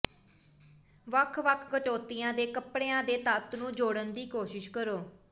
ਵੱਖ ਵੱਖ ਕਟੌਤੀਆਂ ਦੇ ਕਪੜਿਆਂ ਦੇ ਤੱਤ ਨੂੰ ਜੋੜਨ ਦੀ ਕੋਸ਼ਿਸ਼ ਕਰੋ